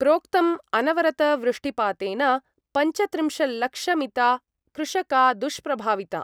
प्रोक्तम् अनवरतवृष्टिपातेन पञ्चत्रिंशल्लक्षमिता कृषका दुष्प्रभाविता।